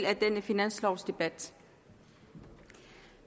af denne finanslovdebat